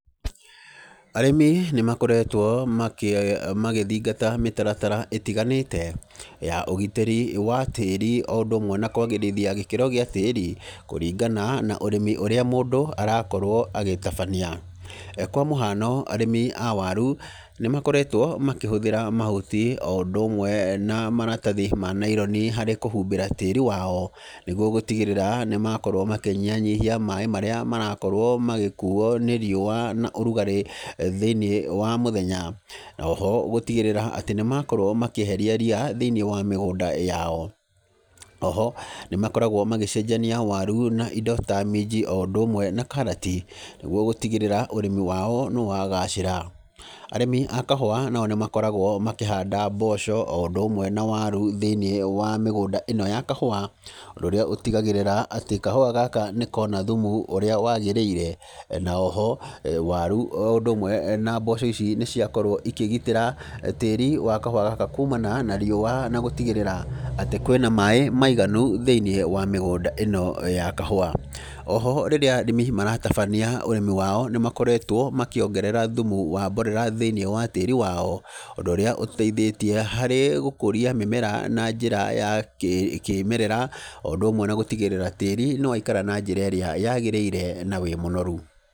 Arĩmi nĩ makoretwo makĩ magĩthingata mĩtaratara ĩtiganĩte, ya ũgitĩri wa tĩri, o ũndũ ũmwe na kwagĩrithia gĩkĩro gĩa tĩri, kũringana na ũrĩmi ũra mũndũ arakorwo agĩtambania, kwa mũhano, arĩmi a waru nĩ makoretwo makĩhũthra mahuti, o ũndũ ũmwe na maratathi ma naironi harĩ kũhumbĩra tĩri wao, nĩguo gũtigĩrĩra nĩ makorwo makĩnyihanyihia maĩ marĩa marakorwo magĩkuwo nĩ riũwa, na ũrugarĩ thĩinĩ wa mũthenya, noho gũtigĩrĩra atĩ nĩ makorwo makĩeheria riya thĩinĩ wa mĩgũnda yao, oho nĩ makoragwo magĩcenjania waru na indo ta minji, o ũndũ ũmwe na karati, nĩguo gũtigĩrĩra ũrĩmi wao nĩ wagacĩra, arĩmi a kahũwa nao nĩ makoragwo makĩhanda mboco,o ũndũ ũwe na waru thĩinĩ wa mĩgũnda ĩno ya kahũwa, ũndũ ũrĩa ũtigagĩrĩra kahũwa gaka nĩkona thumu ũria wagĩrĩire, na oho waru, o ũndũ ũmwe na mboco ici nĩciakorwo ikĩgitĩra tĩri wa kahũwa gaka kuumana na riũwa na gũtigĩrĩra atĩ kwĩna maĩ maiganu thĩinĩ wa mĩgunda ĩno ya kahũwa, oho rĩrĩa arĩmi maratabania ũrĩmi wao nĩ makoretwo makĩongerera thumu wa mborera thĩinĩ wa tĩri wao, ũndũ ũrĩa ũteithĩtie harĩ gũkũria mĩmera na njĩra ya kĩ kĩmerera, o ũndũ ũmwe na gũtigĩra tĩri nĩ waikara na njĩra ĩrĩa yagĩrĩire na wĩ mũnoru.